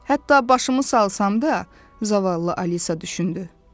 Hətta başımı salsam da, zavallı Alisa düşündü.